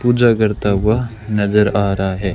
पूजा करता हुआ नजर आ रहा है।